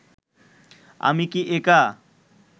আমি কি একা